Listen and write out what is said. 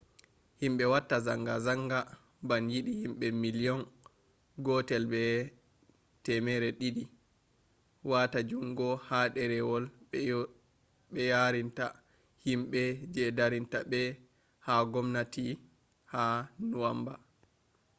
himbe watta zangazanga ban yidi himbe miliyon 1.2 wata jungo ha derewol be yarinta himbe je darinta be ha gwamnati ha nuwanba